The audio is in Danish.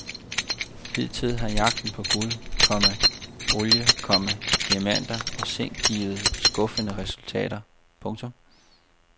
Hidtil har jagten på guld, komma olie, komma diamanter og zink givet skuffende resultater. punktum